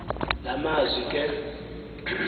la mazwi ke